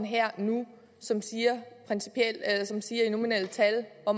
her og nu som siger i nominelle tal hvor